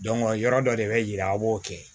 yɔrɔ dɔ de bɛ yira aw b'o kɛ